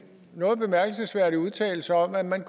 noget bemærkelsesværdig udtalelse om at man